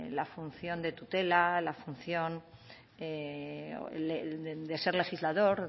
la función de tutela la función de ser legislador